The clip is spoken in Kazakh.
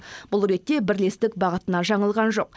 бұл ретте бірлестік бағытынан жаңылған жоқ